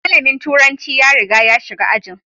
Malamin turanci ya riga ya shiga ajin.